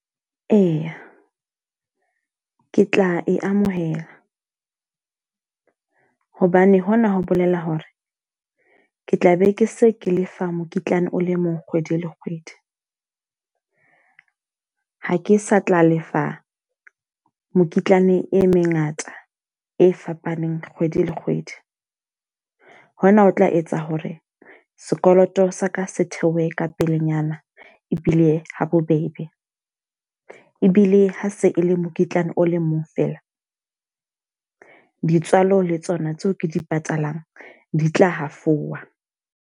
Eya, ke tla e amohela. Hobane hona ho bolela hore, ke tla be ke se ke lefa mokitlane o le mong kgwedi le kgwedi. Ha ke sa tla lefa mokitlane e mengata e fapaneng kgwedi le kgwedi. Hona ho tla etsa hore sekoloto sa ka se theohe ka pelenyana ebile ha bobebe. Ebile ha se e le mokitlane o le mong fela, di tswalo le tsona tseo ke di patalang di tla hafowa.